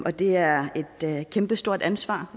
og det er er et kæmpestort ansvar